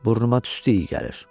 Burnuma tüstü iyi gəlir.